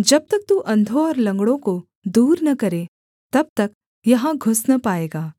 जब तक तू अंधों और लँगड़ों को दूर न करे तब तक यहाँ घुस न पाएगा